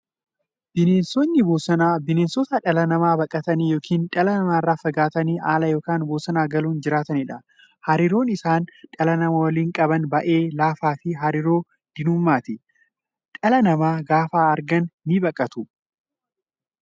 Bineensonni bosonaa bineensota dhala namaa baqatanii yookiin dhala namaa irraa fagaatanii ala yookiin bosona galuun jiraataniidha. Hariiroon isaan dhala namaa waliin qaban baay'ee laafaafi hariiroo diinummaati. Dhala namaa gaafa argan ni baqatu.